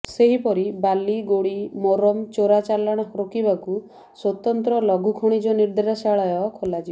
ସେହିପରି ବାଲି ଗୋଡି ମୋରମ ଚୋରା ଚାଲାଣ ରୋକିବାକୁ ସ୍ୱତନ୍ତ୍ର ଲଘୁ ଖଣିଜ ନିର୍ଦ୍ଦେଶାଳୟ ଖୋଲାଯିବ